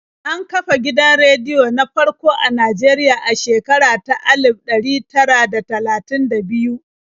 An kafa gidan rediyon na farko a Najeriya a shekara ta alif ɗari tara da talatin da biyu.